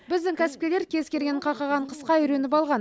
біздің кәсіпкерлер кез келген қақаған қысқа үйреніп алған